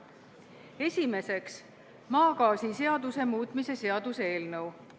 Esimeseks, maagaasiseaduse muutmise seaduse eelnõu.